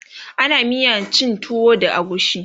ana miyan cin tuwo da agushi